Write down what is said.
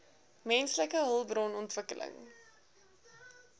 menslike hulpbron ontwikkeling